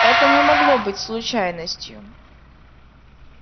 это не могло быть случайностью